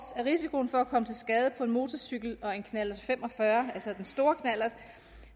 er risikoen for at komme til skade på en motorcykel og en knallert fem og fyrre altså den store knallert